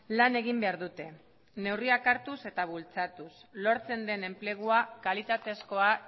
lan egin behar dute neurriak hartuz eta bultzatuz lortzen den enplegua kalitatezkoa